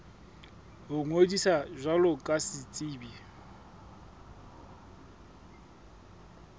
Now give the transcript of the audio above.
ho ngodisa jwalo ka setsebi